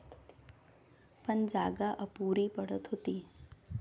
पण जागा अपुरी पडत होती.